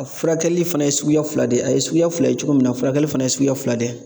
A furakɛli fana ye suguya fila de ye , a ye suguya fila ye cogo min na ,furakɛli fana ye suguya fila de ye.